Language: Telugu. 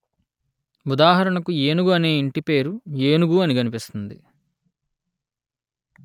ఉదాహరణకు ఏనుగు అనే ఇంటిపేరు ఏనుగు అని కనిపిస్తుంది